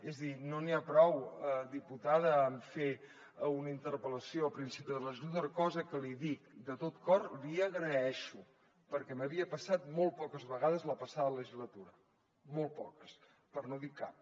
és a dir no n’hi ha prou diputada amb fer una interpel·lació a principi de legislatura cosa que l’hi dic de tot cor li agraeixo perquè m’havia passat molt poques vegades la passada legislatura molt poques per no dir cap